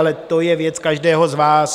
Ale to je věc každého z vás.